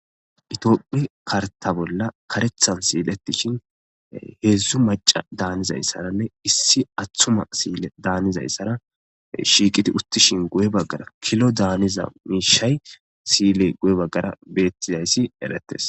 Itophi karta bolla karethan siiletishin heedzdzu maca daanizayssaranne issi athuma siile daanizayssara shiiqiti uttishin guye baggara kilo daaniza miishay siile guye baggara beettizayssi erettes.